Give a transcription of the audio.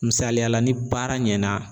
Misaliyala ni baara ɲɛna